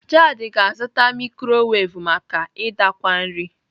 Jared ga-azụta mikrowevu maka idakwa nri.